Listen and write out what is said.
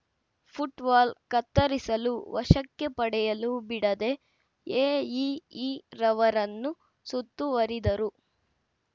foot valve ಕತ್ತರಿಸಲು ವಶಕ್ಕೆ ಪಡೆಯಲು ಬಿಡದೇ ಎಇಇರವರನ್ನು ಸುತ್ತುವರಿದರು